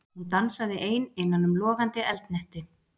Hún dansaði ein innan um logandi eldhnetti.